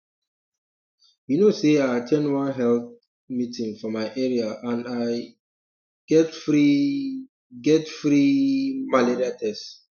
you know say i at ten d one health um meeting for my area and i um get free um get free um malaria test